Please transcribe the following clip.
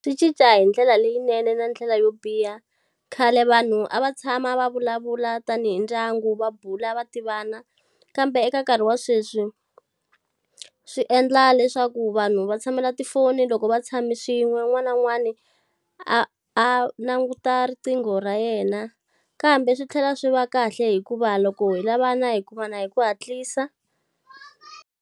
Swi cinca hi ndlela leyinene na ndlela yo biha. Khale vanhu a va tshama va vulavula tanihi ndyangu va bula va tivana. Kambe eka nkarhi wa sweswi swi endla leswaku vanhu va va tshamela tifoni loko va tshame swin'we, un'wana na un'wana a a languta riqingho ra yena kambe swi tlhela swi va kahle hikuva loko hi lavana hi kumana hi ku hatlisa.